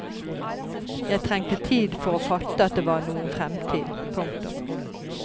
Jeg trengte tid for å fatte at det var noen fremtid. punktum